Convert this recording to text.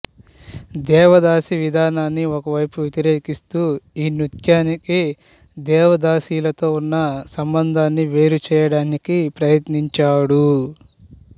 దేవదాసీ విధానాన్ని ఒకవైపు వ్యతిరేకిస్తూ ఈ నృత్యానికి దేవదాసీలతో ఉన్న సంబంధాన్ని వేరు చేయడానికి ప్రయత్నించాడు